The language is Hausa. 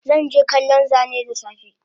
Zanje kallon Zane dasafe